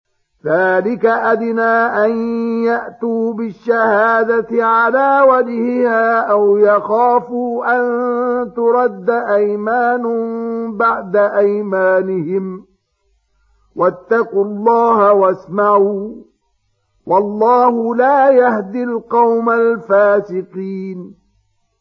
ذَٰلِكَ أَدْنَىٰ أَن يَأْتُوا بِالشَّهَادَةِ عَلَىٰ وَجْهِهَا أَوْ يَخَافُوا أَن تُرَدَّ أَيْمَانٌ بَعْدَ أَيْمَانِهِمْ ۗ وَاتَّقُوا اللَّهَ وَاسْمَعُوا ۗ وَاللَّهُ لَا يَهْدِي الْقَوْمَ الْفَاسِقِينَ